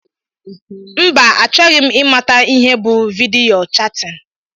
Mba achọghị m imata ihe bụ vidiyo chatin.